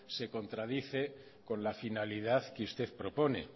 se contradice con la finalidad que usted propone